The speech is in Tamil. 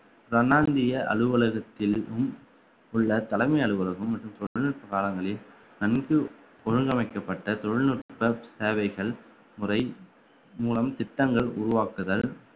பிரனாந்திய அலுவலகத்திலும் உள்ள தலைமை அலுவலகம் மற்றும் தொழில் காலங்களில் நன்கு ஒழுங்கமைக்கப்பட்ட தொழில்நுட்ப சேவைகள் முறை மூலம் திட்டங்கள் உருவாக்குதல்